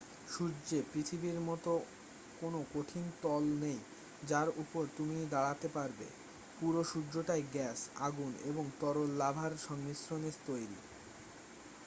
সূর্যে পৃথিবীর মত কোনো কঠিন তল নেই যার উপর তুমি দাঁড়াতে পারবে পুরো সূর্যটাই গ্যাস আগুন এবং তরল লাভার সংমিশ্রণে তৈরী